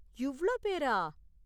இவ்ளோ பேரா?